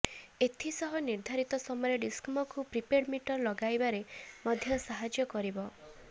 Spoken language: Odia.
ଏଥିସହ ନିର୍ଦ୍ଧାରିତ ସମୟରେ ଡିସ୍କମ୍କୁ ପ୍ରିପେଡ୍ ମିଟର ଲଗାଇବାରେ ମଧ୍ୟ ସାହାଯ୍ୟ କରିବ